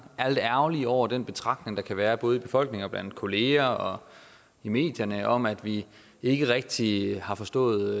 er lidt ærgerlige over den betragtning der kan være både i befolkningen og blandt kollegerne og i medierne om at vi ikke rigtig har forstået